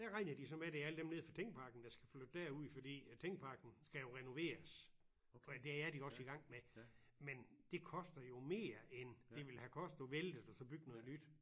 Det er rigtigt det så med det er alle dem nede fra Tingparken der skal flytte derud fordi at Tingparken skal jo renoveres og det er de også i gang med men det koster jo mere end det ville have kostet at vælte det og så bygge noget nyt